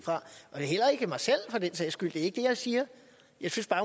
for heller ikke mig selv for den sags skyld det er ikke det jeg siger jeg synes